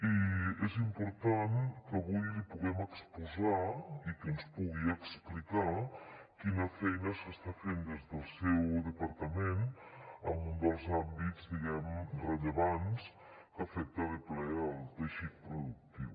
i és important que avui l’hi puguem exposar i que ens pugui explicar quina feina s’està fent des del seu departament en un dels àmbits diguem ne rellevants que afecta de ple el teixit productiu